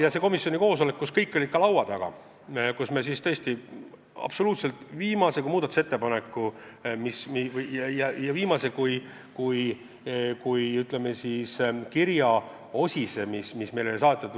Ühel komisjoni koosolekul olid kõik laua taga ja me tõesti võtsime läbi absoluutselt viimase kui muudatusettepaneku, viimase kui kirja, mis meile oli saadetud.